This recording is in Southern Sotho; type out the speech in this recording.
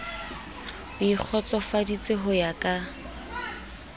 o ikgotsofaditse ho ya ka